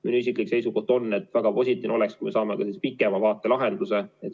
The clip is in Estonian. Minu isiklik seisukoht on, et väga positiivne oleks, kui me saame sellise pikema lahenduse.